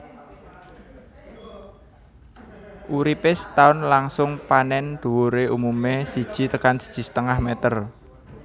Uripé setaun langsung panèn dhuwuré umumé siji tekan siji setengah meter